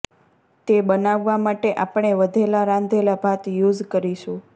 તે બનાવવા માટે આપણે વધેલા રાંધેલા ભાત યુઝ કરીશુ